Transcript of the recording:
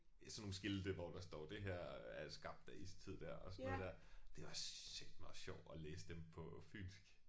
Ja sådan nogle skilte hvor der står det her er skabt af istid der og sådan noget der. Det er også sateme også sjovt at læse dem på fynsk